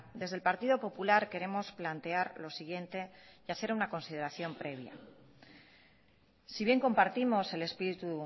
desde el partido popular queremos plantear lo siguiente y hacer una consideración previa si bien compartimos el espíritu